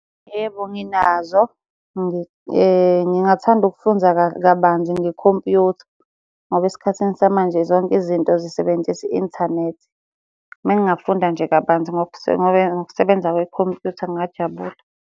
Yebo, nginazo. Ngingathanda ukufunza kabanzi ngekhompuyutha ngoba esikhathini samanje zonke izinto zisebenzisa i-inthanethi. Uma ngingafunda nje kabanzi ngokusebenza kwekhompuyutha ngingajabula.